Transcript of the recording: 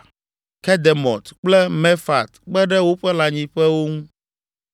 Kedemot kple Mefaat kpe ɖe woƒe lãnyiƒewo ŋu.